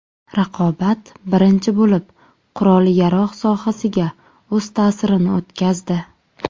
Raqobat birinchi bo‘lib qurol-yarog‘ sohasiga o‘z ta’sirini o‘tkazdi.